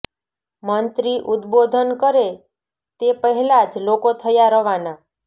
મંત્રી ઉદબોધન કરે તે પહેલા જ લોકો થયા રવાના